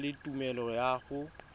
na le tumelelo ya go